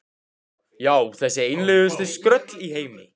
Já, þessi einlægustu skröll í heimi.